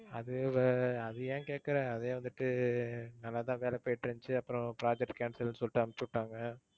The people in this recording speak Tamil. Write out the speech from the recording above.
அது, அது ஏன் கேக்குற அதுவே வந்துட்டு நல்லாத்தான் வேலை போயிட்டு இருந்துச்சு அப்புறம் project cancel ன்னு சொலிட்டு அனுப்பிச்சு விட்டாங்க.